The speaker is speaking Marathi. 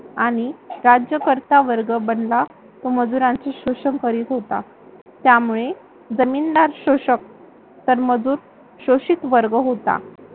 आणि राज्यकर्ता वर्ग बनला. तो मजुरांचे शोषण करीत होता. त्यामुळे जमीनदार शोषक तर मजूर शोषित वर्ग होता.